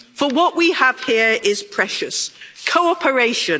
For what we have here is precious. Cooperation.